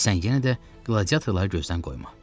Sən yenə də qladiatorları gözdən qoyma.